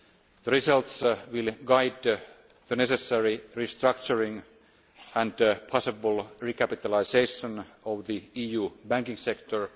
the results will guide the necessary restructuring and possible recapitalisation of the EU banking sector.